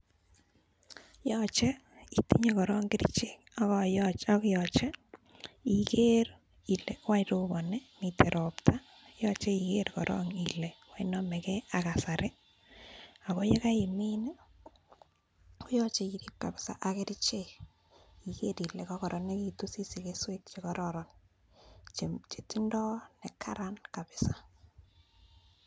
Yoche itinye korong kerichek, ak yoche iker ile wany roboni? Miten ropta? Yoche iger korong ile wany nomege ak kasari? Ago ye kaimin koyoche irip kabisa ak kerichek iger ile kogoronegitu asisich keswek che kororon che tindoi ne karan kabisa.